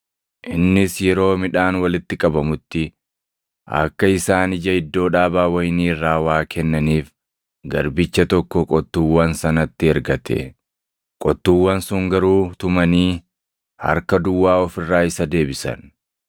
Innis yeroo midhaan walitti qabamutti akka isaan ija iddoo dhaabaa wayinii irraa waa kennaniif garbicha tokko qottuuwwan sanatti ergate. Qottuuwwan sun garuu tumanii harka duwwaa of irraa isa deebisan.